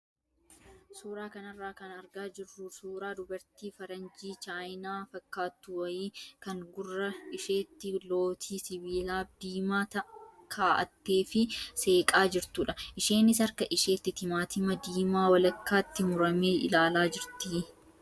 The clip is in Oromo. Suuraa kanarraa kan argaa jirru suuraa dubartii faranjii chaayinaa fakkaattu wayii kan gurra isheetti lootii sibiilaa diimaa kaa'attee fi seeqaa jirtudha. Isheenis harka isheetti timaatima diimaa walakkaatti murtee ilaalaa jirti.